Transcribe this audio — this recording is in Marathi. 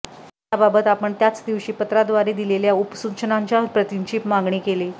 याबाबत आपण त्याच दिवशी पत्राव्दारे दिलेल्या उपसूचनांच्या प्रतींची मागणी केली